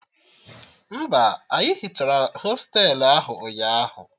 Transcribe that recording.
Mba, anyị hichara hostelu ahụ ụnyaahụ